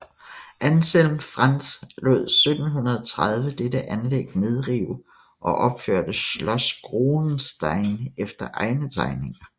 Anselm Franz lod 1730 dette anlæg nedrive og opførte Schloss Groenesteyn efter egne tegninger